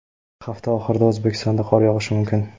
Hafta oxirida O‘zbekistonda qor yog‘ishi mumkin.